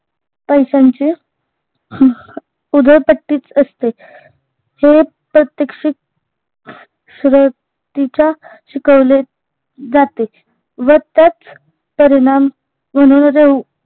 पैश्यांचे उधलपट्टीच असते हे प्रत्यक्षित शिकवले जाते व त्याच परिणाम